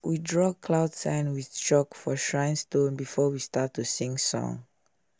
we draw cloud sign with chalk for shrine stone before we start to sing song